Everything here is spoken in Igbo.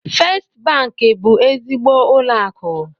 Fest banki bụ ezigbo ụlọ akụ.